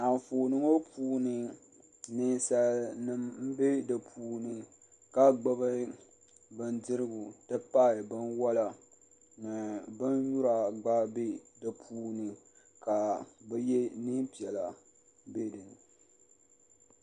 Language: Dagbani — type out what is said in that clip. Anfooni ŋɔ puuni Ninsalinima m-be di puuni ka gbubi bindirigu nti pahi binwala ni binyura gba be di puuni ka bɛ ye neem'piɛla be dini.